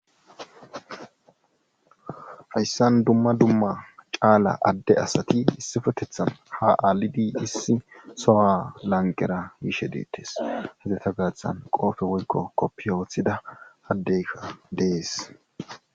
hayssan dumma dumma caala adde asati issifetethan ha aalidi issi sowa lanqera yiishe deettes hedeta gaathan qoofe woykko koppi woththida addeykka dees